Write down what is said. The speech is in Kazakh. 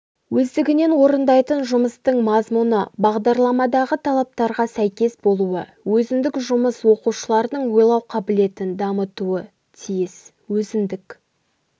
өздігінен орындайтын жұмыстың мазмұны бағдарламадағы талаптарға сәйкес болуы өзіндік жұмыс оқушылардың ойлау қабілетін дамытуы тиіс өзіндік